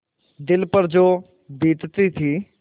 दिल पर जो बीतती थी